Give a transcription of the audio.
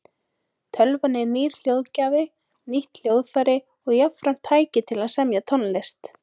Tölvan er nýr hljóðgjafi, nýtt hljóðfæri og jafnframt tæki til að semja tónlist.